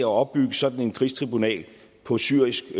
opbygge sådan et krigstribunal på syrisk